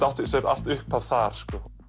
átti sér allt upphaf þar